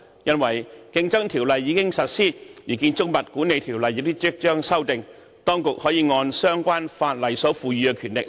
因為《競爭條例》已經實施，《建築物管理條例》也即將獲修訂，當局可按相關法例所賦予的權力......